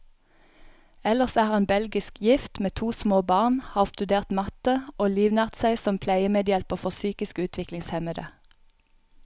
Ellers er han belgisk gift, med to små barn, har studert matte, og livnært seg som pleiemedhjelper for psykisk utviklingshemmede.